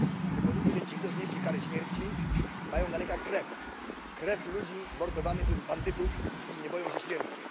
Chcę powiedzieć, że ci, co znieśli karę śmierci, mają na rękach krew krew ludzi mordowanych przez bandytów, którzy nie boją się śmierci.